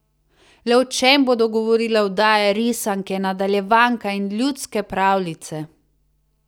Le o čem bodo govorile oddaje, risanke, nadaljevanka in ljudske pravljice?